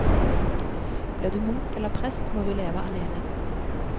Blir du munk eller prest, må du leve alene.